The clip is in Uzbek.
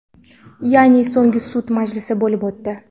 Ya’ni so‘nggi sud majlisi bo‘lib o‘tdi.